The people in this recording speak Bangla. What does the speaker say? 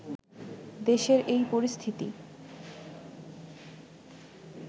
দেশের এই পরিস্থিতি